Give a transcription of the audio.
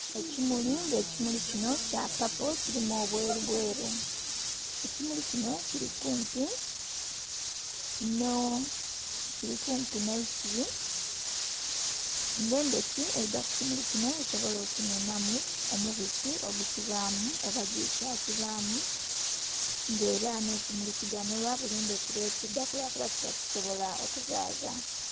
Ekimuli nga ekimuli kinho kya paapo kilimu obweru bweru ekimuli kinho kili kumpi nhe'isubi nga endhoki eidha ku kimuli kinho esobole okukinhunhamu omubisi ogukibamu oba juice akibamu nga era nhe kimuli kiganhulwa buli ndhuki lwe kidhaku kuba kiba kisobola okuzaza.